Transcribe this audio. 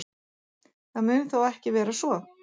Það mun þó ekki vera svo.